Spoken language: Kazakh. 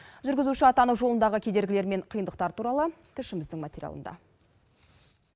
жүргізуші атану жолындағы кедергілер мен қиындықтар туралы тілшіміздің материалында